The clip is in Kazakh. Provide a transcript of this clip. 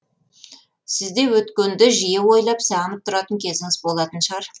сізде өткенді жиі ойлап сағынып тұратын кезіңіз болатын шығар